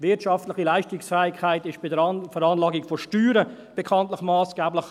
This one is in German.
Wirtschaftliche Leistungsfähigkeit ist bei der Veranlagung von Steuern bekanntlich massgeblich.